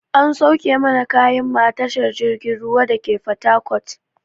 An sauke mana kayan mu a tashar jirgin ruwan dake fatakot.